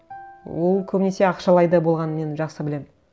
ол көбінесе ақшалай да болғанын мен жақсы білемін